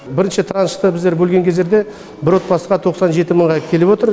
бірінші траншты біздер бөлген кездерде бір отбасыға тоқсан жеті мыңға келіп отыр